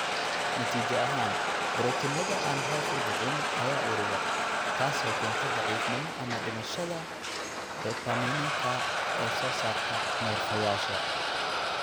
Natiijo ahaan, borotiinada aan hoos u dhicin ayaa urura, taasoo keenta daciifnimo ama dhimashada dopamineka ee soo saarta neerfayaasha.